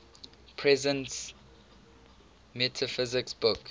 presence metaphysics book